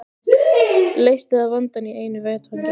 Leysti það vandann í einu vetfangi.